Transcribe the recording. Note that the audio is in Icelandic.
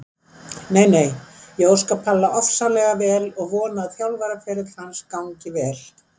Nei nei, ég óska Palla ofsalega vel og vona að þjálfaraferill hans gangi vel.